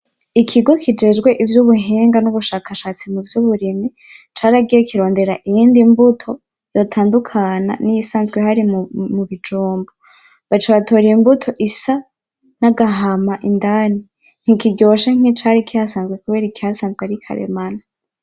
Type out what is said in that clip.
Ikigo kijejwe ivyubuhinga nubushakashatsi muvyuburimyi, caragiye kirondera iyindi mbuto yotandukana niyisanzwe ihari mu bijumbu, baca batora imbuto isa nagahama indani. Ntikiryoshe nkicari kihasanzwe kubera ikihasanzwe ari karemano.